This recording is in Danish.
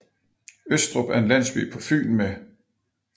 Østrup er en landsby på Fyn med